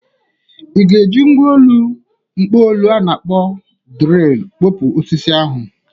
I ga-eji mgwa ọlụ mkpopu a na-akpọ drịlụ pkọpuo osisi ahụ?